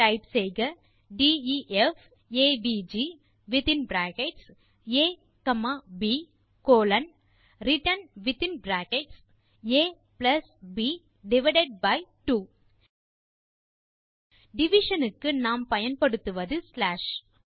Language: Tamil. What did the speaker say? டைப் செய்க def AVG within bracket a comma b colon return within bracket a b divided by 2 division க்கு நாம் பயன்படுத்துவது ஸ்லாஷ்